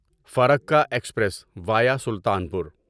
Farakka express via Sultanpur